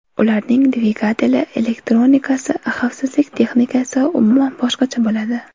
Ularning dvigateli, elektronikasi, xavfsizlik texnikasi umuman boshqacha bo‘ladi.